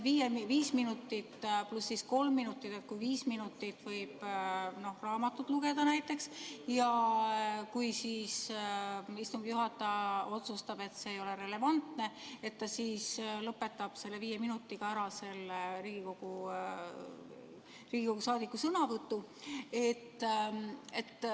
Kui on see viis minutit pluss kolm minutit ja kui viis minutit võib näiteks raamatut lugeda ja kui siis istungi juhataja otsustab, et see ei ole relevantne, siis ta lõpetab viie minutiga ära selle Riigikogu saadiku sõnavõtu.